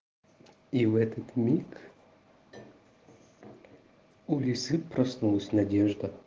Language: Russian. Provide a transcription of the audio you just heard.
и в этот миг у лисы проснулась надежда